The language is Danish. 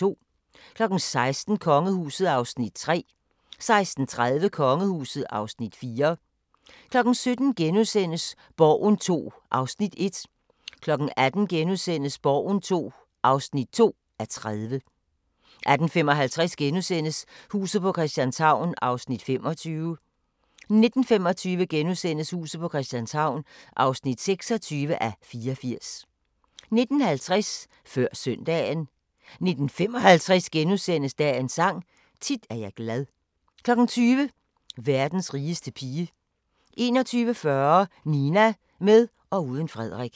16:00: Kongehuset (Afs. 3) 16:30: Kongehuset (Afs. 4) 17:00: Borgen II (1:30)* 18:00: Borgen II (2:30)* 18:55: Huset på Christianshavn (25:84)* 19:25: Huset på Christianshavn (26:84)* 19:50: Før Søndagen 19:55: Dagens Sang: Tit er jeg glad * 20:00: Verdens rigeste pige 21:40: Nina – med og uden Frederik